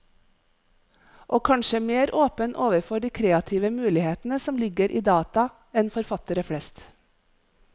Og kanskje mer åpen overfor de kreative mulighetene som ligger i data, enn forfattere flest.